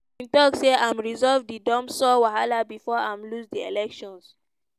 bin tok say i'm resolve di dumsor wahala bifor i'm lose di elections.